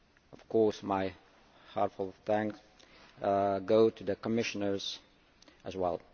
Of course, my heartfelt thanks go to the Commissioners as well.